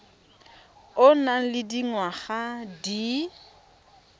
o nang le dingwaga di